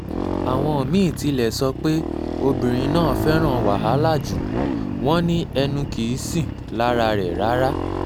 àwọn mí-ín tilẹ̀ sọ pé obìnrin náà fẹ́ràn wàhálà jù wọ́n ní ẹnu kì í sìn lára rẹ̀ rárá